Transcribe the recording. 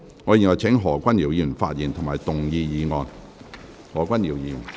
我請何君堯議員發言及動議議案。